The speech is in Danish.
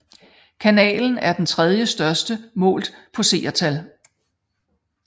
Kanalen er den tredjestørste målt på seertal